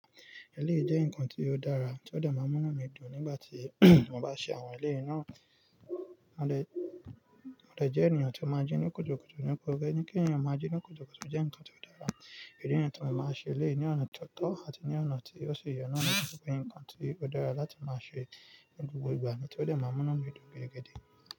Èléyii jẹ́ ǹnkan tí ó dára tí ó de máa mú inu mi dùn nígbà tí mo bá ṣe àwọn eléyan náà. Mo dẹ̀, mo dẹ̀ jẹ́ ènìyàn tí ó máa ń jí ní kutukutu nípa kí ènìyàn máa jí ní kutukutu jẹ́ ǹkan tí ó dára. Idi ni tí mo máa ṣe elèyí ní ọ̀nà tó tọ́ àti ní ọ̀nà tí ó ṣe ìyè náà nípa pé ǹkan tí ó dára láti máa ṣe ní gbogbo ìgbà ni to dẹ máa n mú inu mi dùn gidigidi.